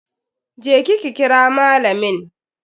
Je ki ki kira malamin.